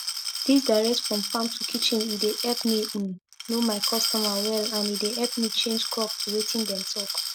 dis direct from farm to kitchen e deyepp me um know my customer well and e dey epp me change crop to wetin dem talk